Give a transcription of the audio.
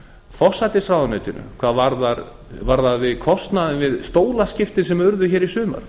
forsætisráðuneytinu hvað varðaði kostnaðinn við stólaskipti sem urðu hér í sumar